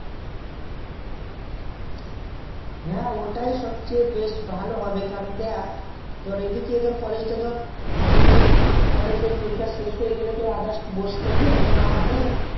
হ্যা ওটাই সবথেকে বেশ ভালো হবে তোর এই দিকে colledge টার পরীক্ষা শেষ হয়ে গেল তো others বসে থেকে লাভ নেই